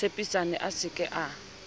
tshepisane a se ke a